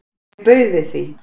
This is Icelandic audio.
Mér bauð við því.